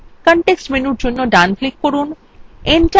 context menu জন্য ডান click করুন